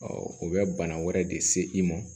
o bɛ bana wɛrɛ de se i ma